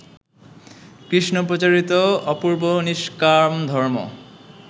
কৃষ্ণপ্রচারিত অপূর্ব নিষ্কামধর্ম